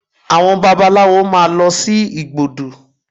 Àwọn babaláwo máa lọ sí igbódù